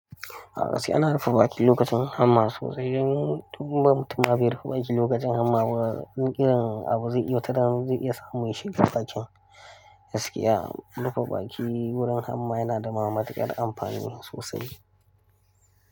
A gaskiya ana rufebɓaki lokacin hamma sosai, idan tun bamfita ba yi rufaɓaki lokacin hamma ba, ƙiran abu zai yi wata damar zai iya samun shi rufaɓakin. Gaskiya, rufaɓaki wurin hamma yana da ma matukar ƙar amfani sosai.